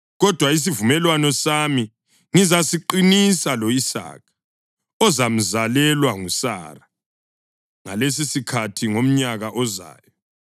Kodwa isivumelwano sami ngizasiqinisa lo-Isaka, ozamzalelwa nguSara ngalesisikhathi ngomnyaka ozayo.”